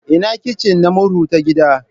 Ina kicin na murhu ta gidan?